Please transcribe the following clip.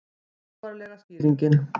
Trúarlega skýringin